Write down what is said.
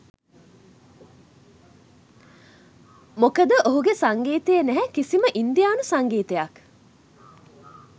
මොකද ඔහුගේ සංගීතයේ නැහැ කිසිම ඉන්දියානු සංගීතයක්.